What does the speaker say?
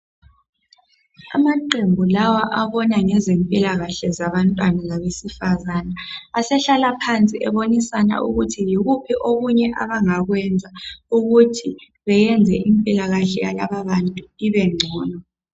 Amaqembu lawa abona ngezempilakahle yabantwana labesifazana asehlala phansi ebonisana kuthi yikuphi okunye avbangakwenza ukuthi benze impilakahle yalababantu ibengcono.